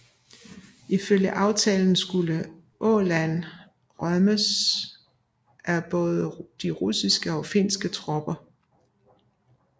Ifølge aftalen skulle Åland rømmes af både de russiske og de finske tropper